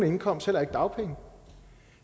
indkomst heller ikke dagpenge